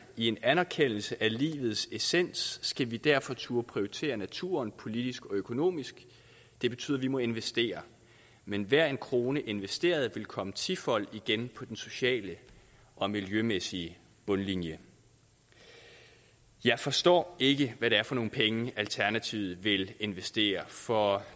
i en anerkendelse af livets essens skal vi derfor turde prioritere naturen politisk og økonomisk det betyder at vi må investere men enhver krone investeret vil komme tifold igen på den sociale og miljømæssige bundlinje jeg forstår ikke hvad det er for nogle penge alternativet vil investere for